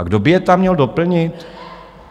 A kdo by je tam měl doplnit?